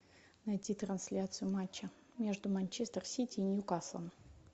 найти трансляцию матча между манчестер сити и ньюкаслом